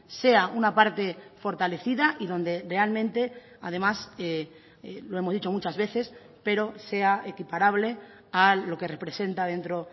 sea una parte fortalecida y donde realmente además lo hemos dicho muchas veces pero sea equiparable a lo que representa dentro